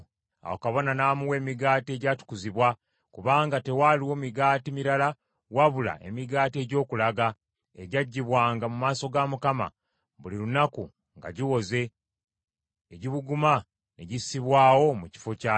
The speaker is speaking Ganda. Awo kabona n’amuwa emigaati egyatukuzibwa kubanga tewaaliwo migaati mirala wabula emigaati egy’Okulaga egyaggibwanga mu maaso ga Mukama , buli lunaku nga giwoze, egibuguma ne gissibwawo mu kifo kya gyo.